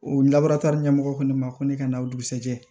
O labaara tari ɲɛmɔgɔ ko ne ma ko ne ka na o dugusajɛ